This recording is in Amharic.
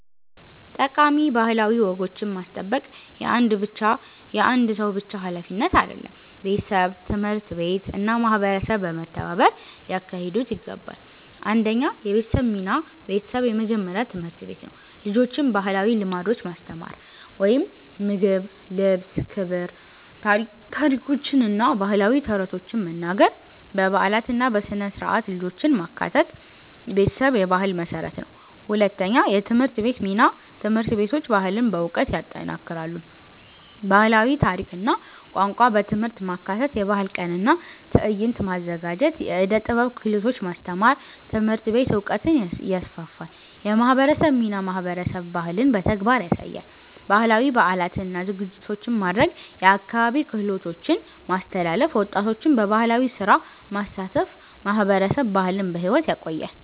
ጠቃሚ ባህላዊ ወጎችን ማስጠበቅ የአንድ ብቻ ሀላፊነት አይደለም፤ ቤተሰብ፣ ትምህርት ቤት እና ማህበረሰብ በመተባበር ሊያካሂዱት ይገባል። 1 የቤተሰብ ሚና ቤተሰብ የመጀመሪያ ትምህርት ቤት ነው። ልጆችን ባህላዊ ልምዶች ማስተማር (ምግብ፣ ልብስ፣ ክብር) ታሪኮችን እና ባህላዊ ተረቶችን መናገር በበዓላት እና በሥነ-ሥርዓት ልጆችን ማካተት ቤተሰብ የባህል መሠረት ነው። 2የትምህርት ቤት ሚና ትምህርት ቤቶች ባህልን በዕውቀት ይጠናክራሉ። ባህላዊ ታሪክ እና ቋንቋ በትምህርት ማካተት የባህል ቀን እና ትዕይንት ማዘጋጀት የዕደ ጥበብ ክህሎቶች ማስተማር ትምህርት ቤት ዕውቀትን ይስፋፋል። የማህበረሰብ ሚናማህበረሰብ ባህልን በተግባር ያሳያል። ባህላዊ በዓላትን እና ዝግጅቶችን ማድረግ የአካባቢ ክህሎቶችን ማስተላለፍ ወጣቶችን በባህላዊ ስራ ማሳተፍ ማህበረሰብ ባህልን በሕይወት ያቆያል።